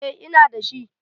eh Ina da shi